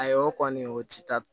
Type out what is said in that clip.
Ayi o kɔni o ti taa